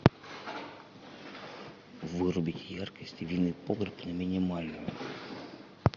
вырубить яркость винный погреб на минимальную